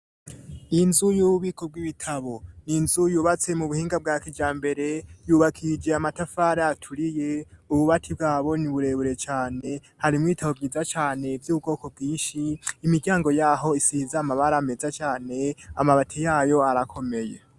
Inzu y'ububiko bw'ibitabo ni nzu yubatse mu buhinga bwa kijambere yubakishije amatafari aturiye ububati bwabo ni burebure cyane hari mu ibitabo bwiza cyane by'ubukoko bwishi imiryango yaho isiza amabara ameza cyane amabati yayo arakomeye.